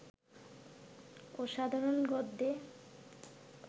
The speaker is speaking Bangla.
অসাধারণ গদ্যে